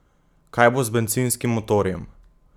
Kaj bo z bencinskim motorjem?